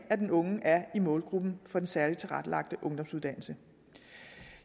at den unge er i målgruppen for den særligt tilrettelagte ungdomsuddannelse